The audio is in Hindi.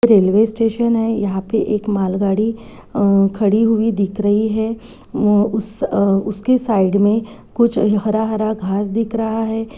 एक रेल्वे स्टेशन है यहाँ एक मालगाड़ी खड़ी हुई दिख रही है उम अ उसके साइड में कुछ हरा हरा घास दिख रहा है।